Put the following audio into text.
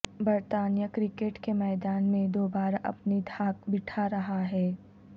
برطانیہ کرکٹ کے میدان میں دوبارہ اپنی دھاک بٹھا رہا ہے